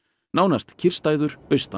nánast kyrrstæður austan